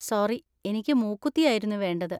Sorry, എനിക്ക് മൂക്കുത്തി ആയിരുന്നു വേണ്ടത്.